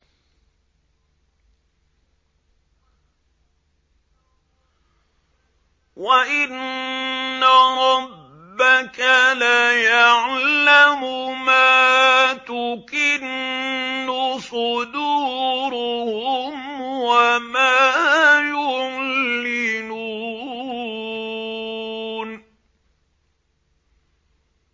وَإِنَّ رَبَّكَ لَيَعْلَمُ مَا تُكِنُّ صُدُورُهُمْ وَمَا يُعْلِنُونَ